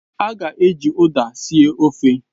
A ga-eji Uda sie ofe